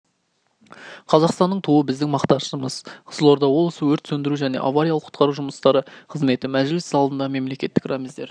қазақстанның туы біздің мақтанышымыз қызылорда облысы өрт сөндіру және авариялық-құтқару жұмыстары қызметі мәжіліс залында мемлекеттік рәміздер